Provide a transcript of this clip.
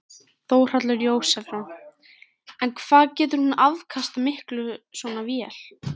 Þórhallur Jósefsson: En hvað getur hún afkastað miklu svona vél?